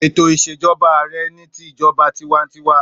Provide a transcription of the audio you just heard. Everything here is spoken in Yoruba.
Ètò ìsèjoba ààrẹ ni ti ìjoba tiwantiwa.